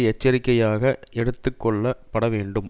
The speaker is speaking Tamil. எச்சரிக்கையாக எடுத்து கொள்ள பட வேண்டும்